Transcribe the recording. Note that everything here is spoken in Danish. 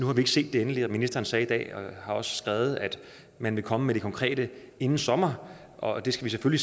har set det endelige ministeren sagde i dag og har også skrevet at man vil komme med det konkrete inden sommer og det skal vi